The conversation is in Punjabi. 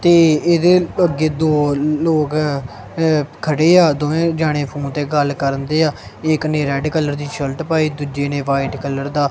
ਤੇ ਇਹਦੇ ਅੱਗੇ ਦੋ ਲੋਕ ਖੜੇ ਆ ਦੋਵੇਂ ਜਾਣੇ ਫੋਨ ਤੇ ਗੱਲ ਕਰਨ ਦੇ ਆ ਇਹ ਇੱਕ ਨੇ ਰੈਡ ਕਲਰ ਦੀ ਸ਼ਰਟ ਪਾਈ ਦੂਜੇ ਨੇ ਵਾਇਟ ਕਲਰ ਦਾ--